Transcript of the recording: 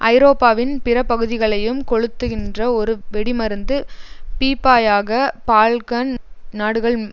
ஐரோப்பாவின் பிற பகுதிகளையும் கொளுத்துகின்ற ஒரு வெடிமருந்து பீப்பாயாக பால்க்கன் நாடுகள்